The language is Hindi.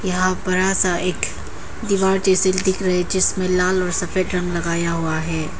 यहां बरा सा एक दीवार जैसे दिख रहे जिसमें लाल और सफेद रंग लगाया हुआ है।